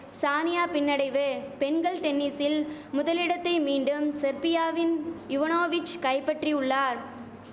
சானியா பின்னடைவு பெண்கள் டென்னிசில் முதலிடத்தை மீண்டும் செர்பியாவின் இவனோவிச் கைபட்றி உள்ளார்